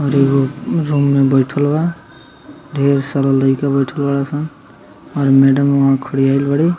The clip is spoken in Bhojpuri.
और एगो रूम में बैठल बा ढेर सारा लइका बैठल बड़ा सन और मैडम खड़ी हेल बाड़ु।